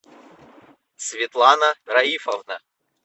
светлана раифовна